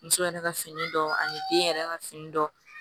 Muso yɛrɛ ka fini dɔ ani den yɛrɛ ka fini dɔ